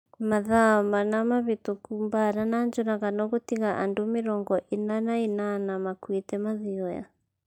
Mathaa mana mahĩtũku Mbaara nĩ njũragano gũtiga andũ mĩrongo ina na inana makuĩte Mathioya